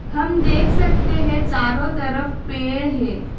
हम देख सकते हैं चारों तरफ पेड़ है।